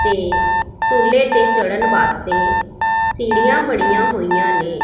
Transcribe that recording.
ਤੇ ਖੁੱਲ੍ਹੇ ਤੇ ਚੜ੍ਹਨ ਵਾਸਤੇ ਸੀੜੀਆਂ ਬਣਿਆ ਹੋਇਆ ਨੇਂ।